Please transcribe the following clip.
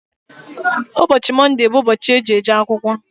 Ụbọchị Mọnde bụ ụbọchị eji-eje akwụkwọ.